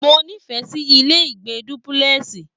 Mo nifẹ sí ilé ìgbé dúpúlẹ́sì.